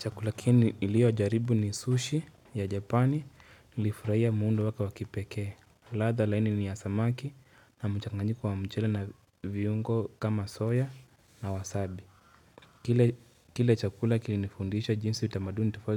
Chakula ki niliyojaribu ni sushi ya japani nilifurahia muundo wake wa kipekee wa ladha laini ni ya samaki na mchanganyiko wa mchele na viungo kama soya na wasabi Kile chakula kilinifundisha jinsi utamaduni tifo